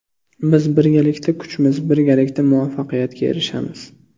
Biz birgalikda kuchmiz, birgalikda muvaffaqiyatga erishamiz!